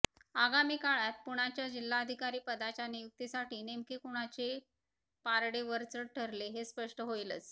आगामी काळात पुण्याच्या जिल्हाधिकारी पदाच्या नियुक्तीसाठी नेमके कुणाचे पारडे वरचढ ठरले हे स्पष्ट होईलच